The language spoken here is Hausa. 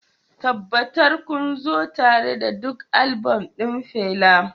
Tabbatar kun zo tare da duk album ɗin Fela